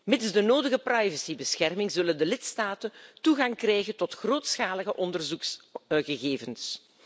Mits de nodige privacybescherming zullen de lidstaten toegang krijgen tot grootschalige onderzoeksgegevens.